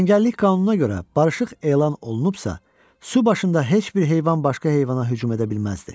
Cəngəllik qanununa görə barışıq elan olunubsa, su başında heç bir heyvan başqa heyvana hücum edə bilməzdi.